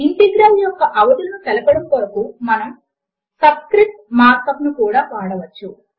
integral యొక్క అవధులను తెలపడము కొరకు మనము సబ్ స్క్రిప్ట్ మార్క్ అప్ ను కూడా వాడవచ్చు